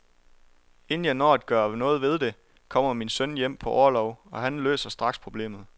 Inden jeg når at gøre noget ved det, kommer min søn hjem på orlov, og han løser straks problemet.